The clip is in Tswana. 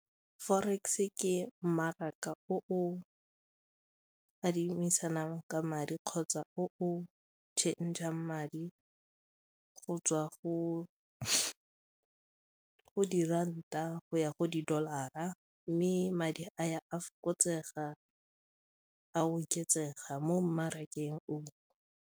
Forex ke mmaraka o o adimisanang ka madi kgotsa o change-ang madi go tswa go diranta go ya go di-dollar-ra mme madi a ya a fokotsega a oketsega mo mmarakeng o.